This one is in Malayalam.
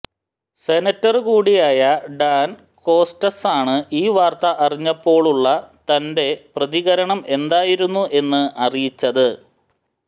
സെനറ്റര് കൂടിയായ ഡാന് കോസ്റ്റ്സാണ് ഈ വാര്ത്ത അറിഞ്ഞപ്പോഴുള്ള തന്റെ പ്രതികരണം എന്തായിരുന്നു എന്ന് അറിയിച്ചത്